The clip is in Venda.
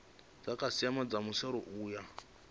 dzikhasiama dza srsa u ya